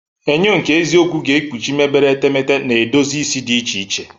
Enyo nke eziokwu ga-ekpuchi mebere etemeete na edozi isi di iche iche.